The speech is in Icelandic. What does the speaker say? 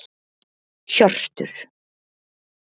Hjörtur